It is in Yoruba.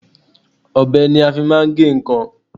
Ọbẹ ni a fi máa ń gé nǹkan.